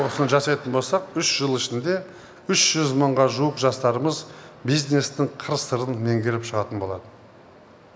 осыны жасайтын болсақ үш жыл ішінде үш жүз мыңға жуық жастарымыз бизнестің қыр сырын меңгеріп шығатын болады